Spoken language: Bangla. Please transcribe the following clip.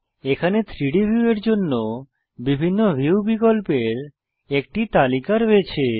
এখানে 3ডি ভিউয়ের জন্য বিভিন্ন ভিউ বিকল্পের একটি তালিকা রয়েছে